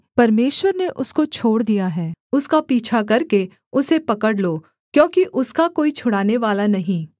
परमेश्वर ने उसको छोड़ दिया है उसका पीछा करके उसे पकड़ लो क्योंकि उसका कोई छुड़ानेवाला नहीं